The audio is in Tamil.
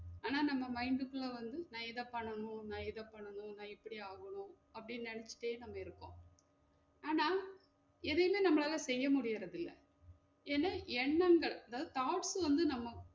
ஆனா நம்ம mind க்கு உள்ள வந்து நா இத பண்ணனும் நா இத பண்ணனும் நா இப்படி ஆகனும் அப்படி நெனச்சுட்டே நாம இருப்போம் ஆனா எதையுமே நம்மளால செய்ய முடியுறது இல்ல ஏனா எண்ணங்கள் அதாவது thoughts வந்து நம்ம